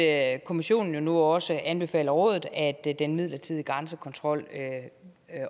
at kommissionen nu også anbefaler rådet at den midlertidige grænsekontrol